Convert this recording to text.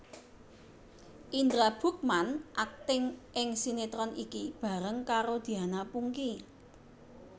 Indra Bruggman akting ing sinetron iki bareng karo Diana Pungky